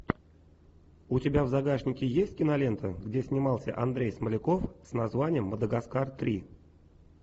у тебя в загашнике есть кинолента где снимался андрей смоляков с названием мадагаскар три